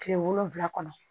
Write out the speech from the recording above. Kile wolonfila kɔnɔ